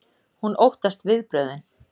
Hún óttast viðbrögðin.